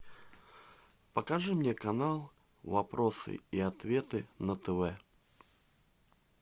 покажи мне канал вопросы и ответы на тв